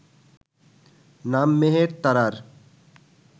নাম মেহের তারার